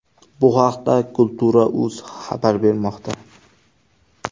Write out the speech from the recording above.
Bu haqda Kultura.uz xabar bermoqda .